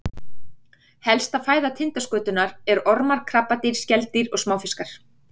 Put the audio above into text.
Helsta fæða tindaskötunnar er ormar, krabbadýr, skeldýr og smáfiskar.